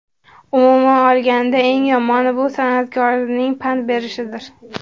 Umuman olganda, eng yomoni – bu san’atkorning pand berishidir.